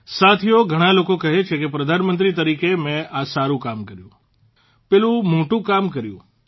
સાથીઓ ઘણા લોકો કહે છે કે પ્રધાનમંત્રીના તરીકે મેં આ સારૂં કામ કર્યું પેલું મોટું કામ કર્યું